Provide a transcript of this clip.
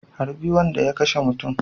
Harbi wanda ya kashemutun